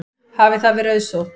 Hafi það verið auðsótt.